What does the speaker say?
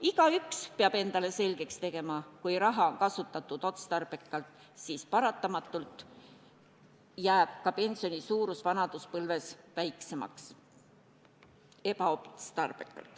Igaüks peab endale selgeks tegema: kui raha on kasutatud ebaotstarbekalt, siis paratamatult jääb ka pensioni suurus vanaduspõlves väiksemaks.